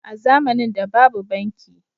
a zamanin da babu banki